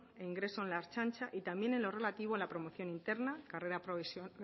e ingreso en la ertzaintza y también en lo relativo a la promoción interna carrera